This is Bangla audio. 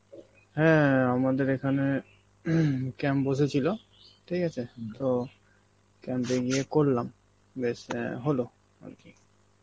হ্যাঁ আমাদের এখানে camp বসেছিল, ঠিক আছে তো camp এ গিয়ে করলাম, বেশ অ্যাঁ হলো আরকি.